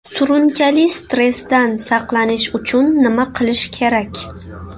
Surunkali stressdan saqlanish uchun nima qilish kerak?